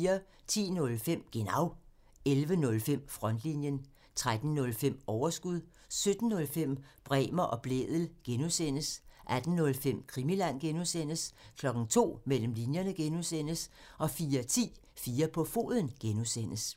10:05: Genau (tir) 11:05: Frontlinjen (tir) 13:05: Overskud (tir) 17:05: Bremer og Blædel (G) (tir) 18:05: Krimiland (G) (tir) 02:00: Mellem linjerne (G) (tir) 04:10: 4 på foden (G) (tir)